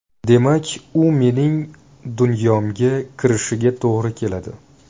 Demak, u mening dunyomga kirishiga to‘g‘ri keladi.